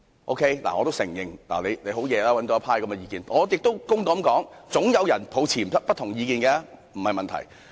我得承認對此確有贊成意見，亦要公道地說總有人持不同意見，這不是問題。